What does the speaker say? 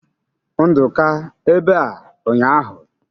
Nduka ebea ụnyahụ?